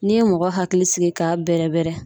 N'i ye mɔgɔ hakili sigi k'a bɛrɛbɛrɛ